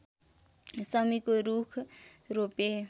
शमीको रूख रोपे